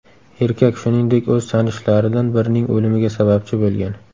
Erkak, shuningdek, o‘z tanishlaridan birining o‘limiga sababchi bo‘lgan.